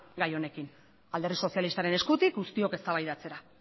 gai honekin alderdi sozialistaren eskutik guztiok eztabaidatzera